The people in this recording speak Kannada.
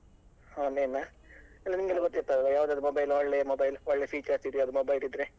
Online ಆ ಇಲ್ಲ ನಿಮ್ಗೆಲ್ಲಾ ಗೊತ್ತಿರ್ತದೆ ಅಲ್ವ ಯಾವದೆಲ್ಲ mobile ಒಳ್ಳೆ mobile ಒಳ್ಳೆ features ಇದ್ದ mobile ಇದ್ರೆ.